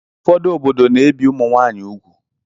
Ụfọdụ obodo na-ebi ụmụ nwaanyị úgwù.